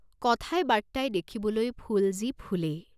কথায় বাৰ্ত্তায়, দেখিবলৈ ফুল যি ফুলেই।